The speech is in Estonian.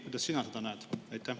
Kuidas sina seda näed?